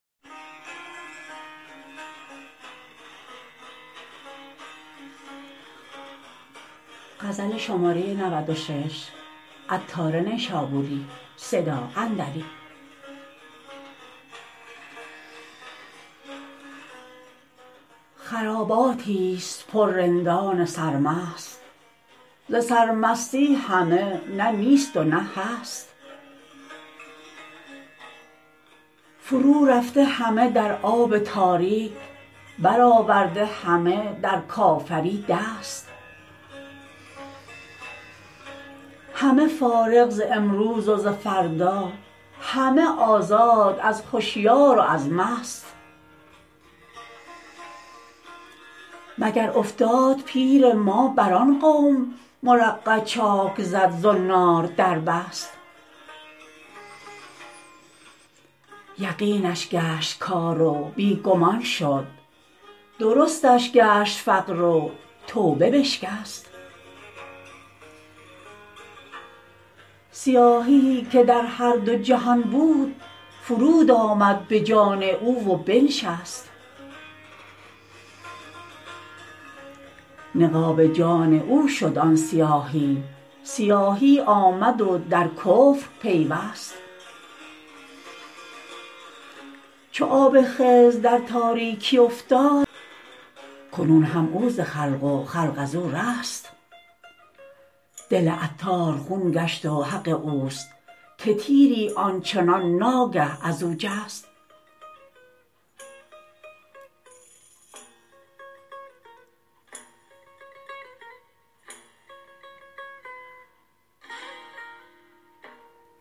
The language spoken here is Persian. خراباتی است پر رندان سرمست ز سر مستی همه نه نیست و نه هست فرو رفته همه در آب تاریک برآورده همه در کافری دست همه فارغ ز امروز و ز فردا همه آزاد از هشیار و از مست مگر افتاد پیر ما بر آن قوم مرقع چاک زد زنار در بست یقینش گشت کار و بی گمان شد درستش گشت فقر و توبه بشکست سیاهیی که در هر دو جهان بود فرود آمد به جان او و بنشست نقاب جان او شد آن سیاهی سیاهی آمد و در کفر پیوست چو آب خضر در تاریکی افتاد کنون هم او ز خلق و خلق ازو رست دل عطار خون گشت و حق اوست که تیری آنچنان ناگه ازو جست